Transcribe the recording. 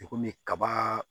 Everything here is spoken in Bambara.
I komi kaba